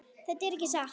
Þetta er ekki satt!